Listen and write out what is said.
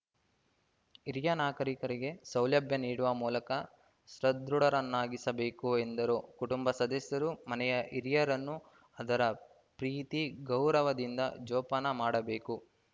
ಹಿರಿಯ ನಾಗರೀಕರಿಗೆ ಸೌಲಭ್ಯ ನೀಡುವ ಮೂಲಕ ಸದೃಢರನ್ನಾಗಿಸಬೇಕು ಎಂದರು ಕುಟುಂಬ ಸದಸ್ಯರು ಮನೆಯ ಹಿರಿಯರನ್ನು ಆದರ ಪ್ರೀತಿ ಗೌರವದಿಂದ ಜೋಪಾನ ಮಾಡಬೇಕು